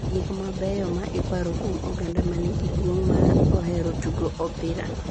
Gik mabeyo ma iparo kuom oganda ma nigi duong’ ma ohero tugo mar opira.